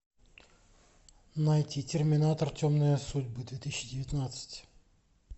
найти терминатор темные судьбы две тысячи девятнадцать